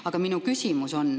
Aga minu küsimus.